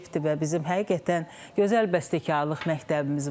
Və bizim həqiqətən gözəl bəstəkarlıq məktəbimiz var.